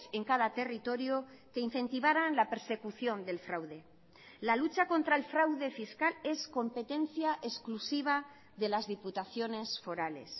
en cada territorio que incentivaran la persecución del fraude la lucha contra el fraude fiscal es competencia exclusiva de las diputaciones forales